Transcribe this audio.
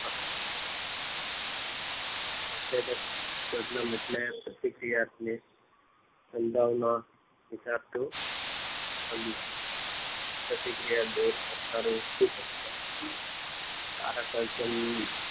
ઉત્સેચક સબ્લમ એટલે પ્રતિક્રિયાની સંભાવના દેખાતું સામનો લાગતી પ્રતિક્રિયા દોર તથા ઉદીપક કારક